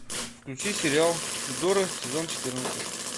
включи сериал тюдоры сезон четырнадцать